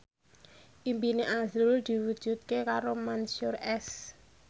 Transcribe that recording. impine azrul diwujudke karo Mansyur S